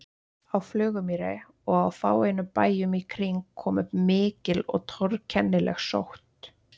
Á Flugumýri og á fáeinum bæjum í kring kom upp mikil og torkennileg sótt.